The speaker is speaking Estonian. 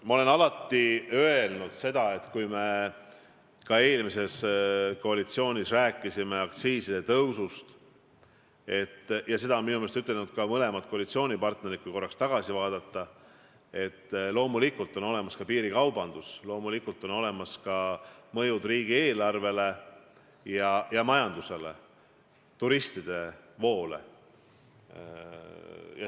Ma alati ütlesin, kui me eelmise koalitsiooni ajal rääkisime aktsiiside tõusust – seda on minu meelest öelnud ka mõlemad koalitsioonipartnerid, kui korraks tagasi vaadata –, et loomulikult on olemas piirikaubandus, loomulikult on olemas mõjud riigieelarvele ja majandusele, turistide voole.